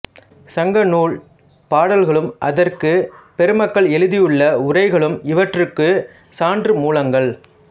சங்கநூல் பாடல்களும் அதற்குப் பெருமக்கள் எழுதியுள்ள உரைகளும் இவற்றிற்குச் சான்று மூலங்கள்